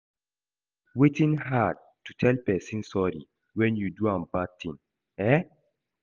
Wetin hard to tell person sorry when you do am bad thing, eh?